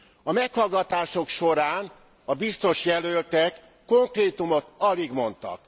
A meghallgatások során a biztosjelöltek konkrétumot alig mondtak.